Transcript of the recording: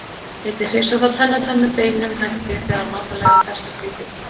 Einnig hreinsar það tennurnar með beinum hætti þegar matarleifar festast í því.